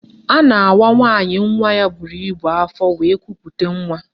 A na-awa nwaanyị nwa ya buru ibu afọ wee kupute nwa